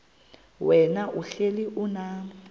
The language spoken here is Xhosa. wena uhlel unam